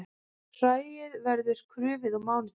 Hræið verður krufið á mánudag